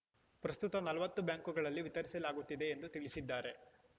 ಪ್ರಸ್ತುತ ನಲವತ್ತು ಬ್ಯಾಂಕುಗಳಲ್ಲಿ ವಿತರಿಸಲಾಗುತ್ತದೆ ಎಂದು ತಿಳಿಸಿದ್ದಾರೆ